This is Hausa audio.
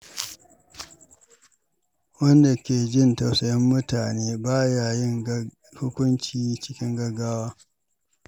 Wanda ke jin tausayin mutane ba ya yin hukunci cikin gaggawa.